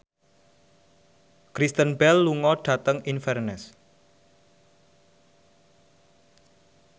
Kristen Bell lunga dhateng Inverness